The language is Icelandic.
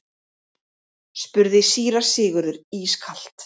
spurði síra Sigurður ískalt.